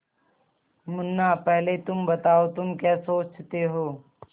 मुन्ना पहले तुम बताओ तुम क्या सोचते हो